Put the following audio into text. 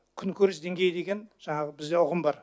күнкөріс деңгейі деген жаңағы бізді ұғым бар